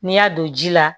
N'i y'a don ji la